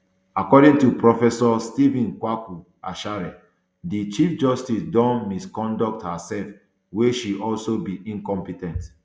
according to professor stephen kwaku asare di chief justice don misconduct herserf wia she also be incompe ten t